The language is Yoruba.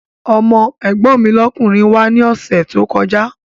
Ọmọ́ ẹ̀gbọ́n mi lọ́kùnrin wá ní ọ̀sẹ̀ tó kọjá